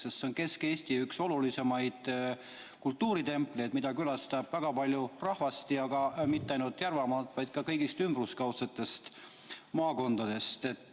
See on Kesk-Eesti üks olulisemaid kultuuritempleid, mida külastab väga palju rahvast ja mitte ainult Järvamaalt, vaid ka kõigist ümberkaudsetest maakondadest.